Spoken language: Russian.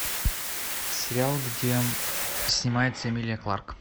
сериал где снимается эмилия кларк